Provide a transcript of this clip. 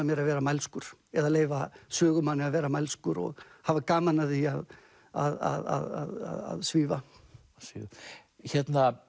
mér að vera mælskur eða leyfa sögumanni að vera mælskur og hafa gaman af því að svífa hérna